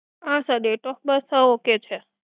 હા sir date of birth ok છે.